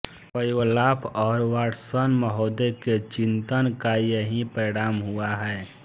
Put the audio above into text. Pavlov और Watson महोदय के चिंतन का यही परिणाम हुआ है